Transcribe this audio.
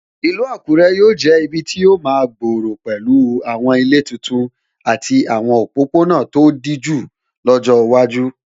Ìlú Àkúrẹ́ yóò jẹ́ ibi tí yóò máa gbòòrò pẹ̀lú àwọn ilé titun àti àwọn òpópónà tó dijú lọ́jọ́ iwájú.